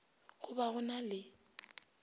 go ba go na le